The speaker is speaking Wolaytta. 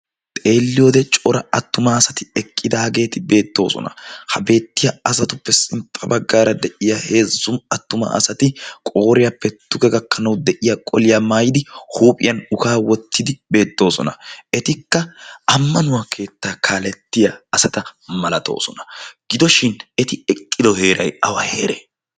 Xeelliyoode cora attuma asati eqqidaageeti beettoosona. ha beettiya asatuppe sinxxa baggaara de'iya heezzun attuma asati qooriyaa pettuge gakkanau de'iya qoliyaa maayidi huuphiyan ukaa wottidi beettoosona etikka ammanuwaa keettaa kaalettiya asata malatoosona gidoshin eti eqqido heeray awa heere?